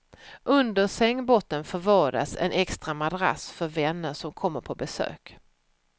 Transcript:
Under sängbottnen förvaras en extra madrass för vänner som kommer på besök.